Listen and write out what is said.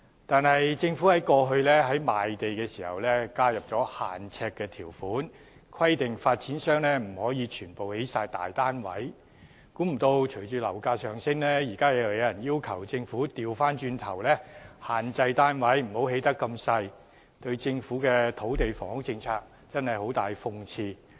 但政府過去在賣地時，加入了"限呎"的條款，規定發展商不可把土地全部用作興建大單位，想不到隨着樓價上升，現在有人要求政府不要規限發展商興建面積細小的單位，這對政府的土地房屋政策十分諷刺。